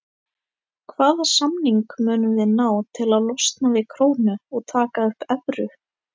Hvaða samning munum við ná til að losna við krónu og taka upp evru?